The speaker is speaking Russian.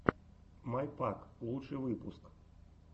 май пак лучший выпуск